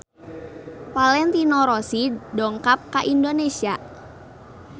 Valentino Rossi dongkap ka Indonesia